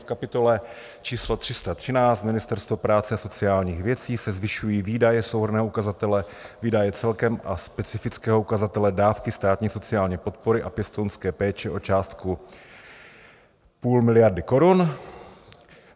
V kapitole číslo 313 Ministerstvo práce a sociálních věcí se zvyšují výdaje souhrnného ukazatele výdaje celkem a specifického ukazatele dávky státní sociální podpory a pěstounské péče o částku půl miliardy korun.